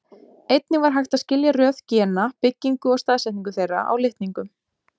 Einnig var hægt að skilja röð gena, byggingu og staðsetningu þeirra á litningum.